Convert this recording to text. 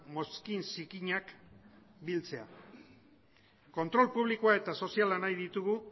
mozkin zikinak biltzea kontrol publikoa eta soziala nahi ditugu